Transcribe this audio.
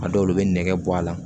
A dɔw la u bɛ nɛgɛ bɔ a la